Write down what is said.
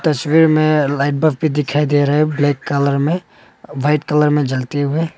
तस्वीर में light bulb भी दिखाई दे रहा है ब्लैक कलर में वाइट कलर में जलते हुए।